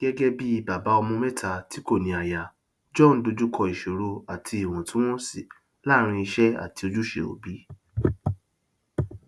gẹgẹ bí bàbá ọmọ mẹta tí kò ní aya john dojú kọ ìṣòro àti íwọntunwọnsí làárin iṣẹ àti ojúṣe òbí